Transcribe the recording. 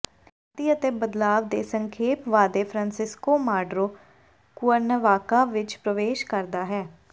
ਸ਼ਾਂਤੀ ਅਤੇ ਬਦਲਾਵ ਦੇ ਸੰਖੇਪ ਵਾਅਦੇ ਫ੍ਰਾਂਸਿਸਕੋ ਮਾਡਰੋ ਕੁਅਰਨੇਵਾਕਾ ਵਿੱਚ ਪ੍ਰਵੇਸ਼ ਕਰਦਾ ਹੈ